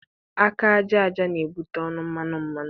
Aka ajaja na-ebute ọnụ mmanụ mmanụ.